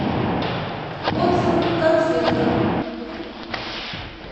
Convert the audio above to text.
отзывы конфетка